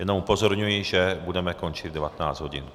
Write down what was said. Jenom upozorňuji, že budeme končit v 19 hodin.